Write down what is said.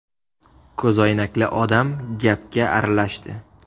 Ko‘zoynakli odam gapga aralashdi.